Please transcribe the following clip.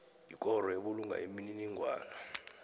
yikoro ebulunga imininingwana